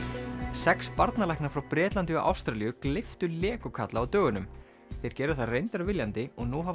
sex barnalæknar frá Bretlandi og Ástralíu gleyptu Lego kalla á dögunum þeir gerðu það reyndar viljandi og nú hafa